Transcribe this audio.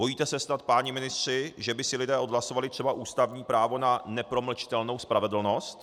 Bojíte se snad, páni ministři, že by si lidé odhlasovali třeba ústavní právo na nepromlčitelnou spravedlnost?